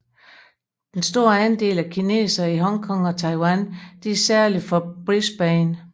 Den store andel af kinesere fra Hong Kong og Taiwan er særlig for Brisbane